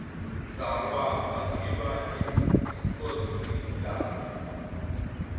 zakwamakhelwane iscottsvile plaza